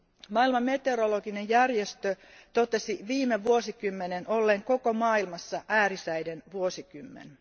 Maailman meteorologinen järjestö totesi viime vuosikymmenen olleen koko maailmassa äärisäiden vuosikymmen.